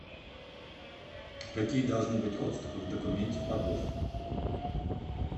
какие должны быть отступы в документе по госту